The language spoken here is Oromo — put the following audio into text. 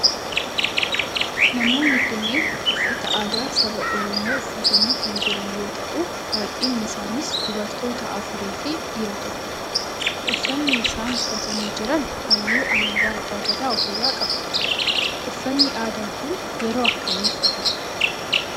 Namoonni kunneen uffata aadaa saba oromoo uffatanii kan jiran yoo ta'u baayyinni isaanii dubartoota afuri fi dhiira tokkodha. Uffanni isaan uffatanii jiran halluu alaabaa abbaa Gadaa of irraa qaba. Uffanni aadaa kun yeroo akkamii uffatama?